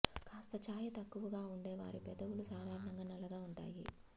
కాస్త ఛాయ తక్కువగా ఉండే వారి పెదవులు సాధారణంగా నల్లగా ఉంటాయి